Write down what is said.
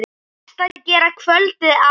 Best að gera kvöldið áður.